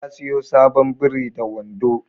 Ya siyo sabon biri da wando